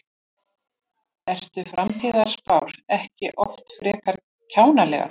Eru framtíðarspár ekki oft frekar kjánalegar?